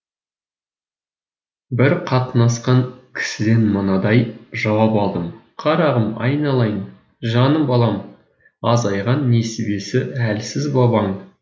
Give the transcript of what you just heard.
бір қатынасқан кісіден мынадай жауап алдым қарағым айналайын жаным балам азайған несібесі әлсіз бабаң